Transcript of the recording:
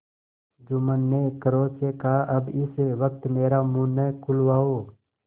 जुम्मन ने क्रोध से कहाअब इस वक्त मेरा मुँह न खुलवाओ